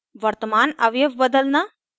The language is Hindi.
वर्तमान अवयव बदलना